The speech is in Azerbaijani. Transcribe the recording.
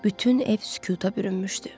Bütün ev sükuta bürünmüşdü.